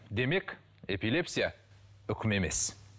демек эпилепсия үкім емес